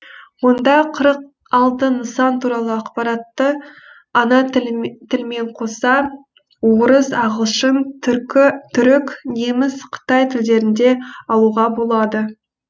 онда қырық алты нысан туралы ақпаратты ана тілмен қоса орыс ағылшын түрік неміс қытай тілдерінде алуға болады